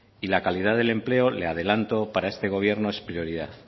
y la calidad del empleo le adelanto para este gobierno es prioridad